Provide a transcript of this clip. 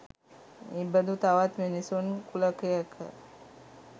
එබදු තවත් මිනිසුන් කුලකයක